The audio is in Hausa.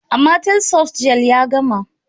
Amatel softgel ya gama.